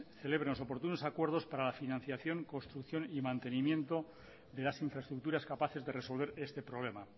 celebren los oportunos acuerdos para la financiación construcción y mantenimiento de las infraestructuras capaces de resolver este problema